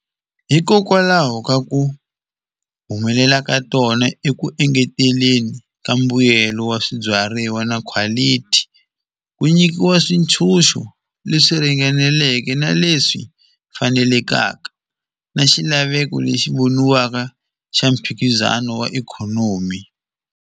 Hikokwalaho ka ku humelela ka tona eku engeteleli ka mbuyelo wa swibyariwa na quality ku nyikiwa swintshuxo leswi ringaneleke na leswi fanelekaka na xilaveko lexi voniwaka xa mphikizano wa ikhonomi.